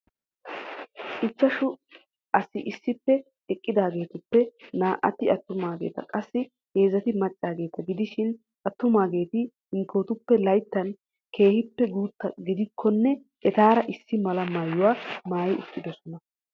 Ichashshu asi issippe eqqidaagetuppe naa"ati attumaageta qassi heezzati maccaageeta gidishin attumaageeti hinkkotuppe layttan keehippe guutta gidikkonne etaaara issi mala maayyuwaa maayyi uttidoosona.